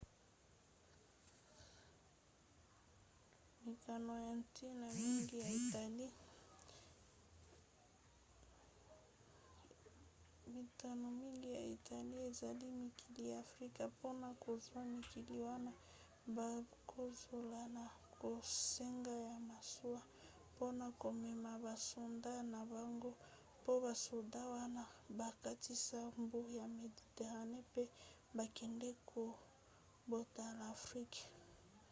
mikano ya ntina mingi ya italie ezali mikili ya afrika. mpona kozwa mikili wana bakozala na bosenga ya masuwa mpona komema basoda na bango mpo basoda wana bakatisa mbu ya méditerranée mpe bakende kobotola afrika